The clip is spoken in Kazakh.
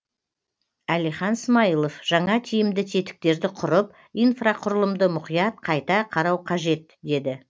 әлихан смайылов жаңа тиімді тетіктерді құрып инфрақұрылымды мұқият қайта қарау қажет деді